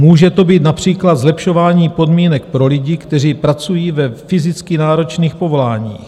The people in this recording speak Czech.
Může to být například zlepšování podmínek pro lidi, kteří pracují ve fyzicky náročných povoláních.